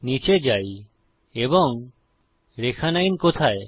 নীচে যাই এবং রেখা 9 কোথায়